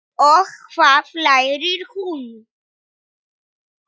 Og hvað lærir hún?